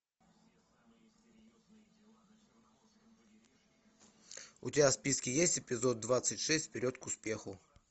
у тебя в списке есть эпизод двадцать шесть вперед к успеху